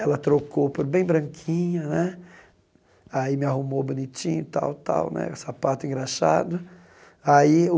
Ela trocou por bem branquinha né, aí me arrumou bonitinho tal tal né, sapato engraxado. Aí o